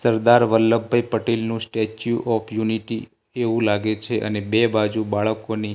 સરદાર વલ્લભભાઈ પટેલનું statue of unity એવું લાગે છે અને બે બાજુ બાળકોની--